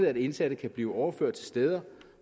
at indsatte kan blive overført til steder